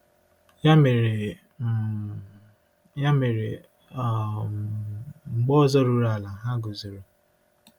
Ya mere, um Ya mere, um mgbe ndị ọzọ ruru ala, ha guzoro.